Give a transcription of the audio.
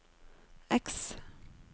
X